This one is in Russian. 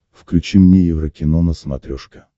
включи мне еврокино на смотрешке